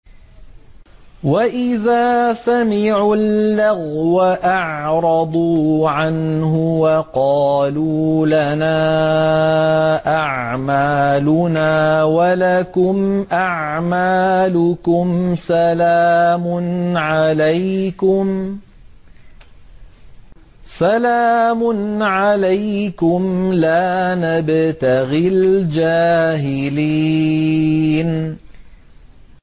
وَإِذَا سَمِعُوا اللَّغْوَ أَعْرَضُوا عَنْهُ وَقَالُوا لَنَا أَعْمَالُنَا وَلَكُمْ أَعْمَالُكُمْ سَلَامٌ عَلَيْكُمْ لَا نَبْتَغِي الْجَاهِلِينَ